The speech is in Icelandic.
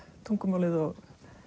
tungumálið og